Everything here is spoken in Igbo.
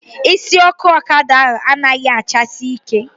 Isi ọkụ ọkada ahụ anaghị achasi ike